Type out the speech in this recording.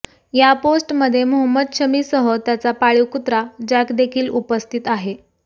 या पोस्टमध्ये मोहम्मद शमीसह त्याचा पाळीव कुत्रा जॅक देखील उपस्थित आहे